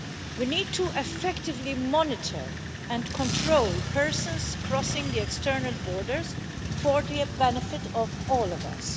We need to effectively monitor and control persons crossing the external borders for the benefit of all of us.